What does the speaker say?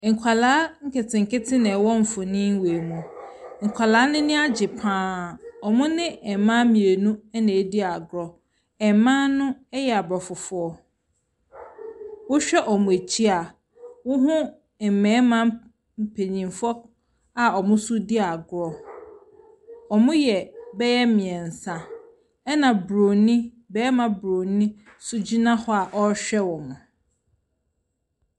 Nkɔla nketenkete na ɛwɔ mfoni wei mu. Nkɔla no ani agye paa. Ɔmo ne mmaa mmienu ɛna edi agoro. Mmaa no ɛyɛ abrofofoɔ. Wohwɛ ɔmo akyi a woho mmɛrima mpanyinfo a ɔmo nso di agorɔ. Ɔmo yɛ bɛyɛ mmiɛnsa. Ɛna bɛrima boroni nso gyina hɔ a ɔhwɛ ɔmo.